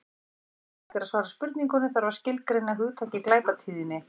Áður en hægt er að svara spurningunni þarf að skilgreina hugtakið glæpatíðni.